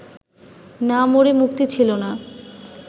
না মরে মুক্তি ছিল না